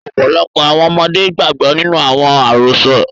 Ọ́pọlọpọ́ àwọn ọmọde gbàgbọ ninu àwọn àrosọ́.